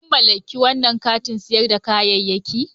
Kun mallaki wannan kantin sayar da kayayyaki?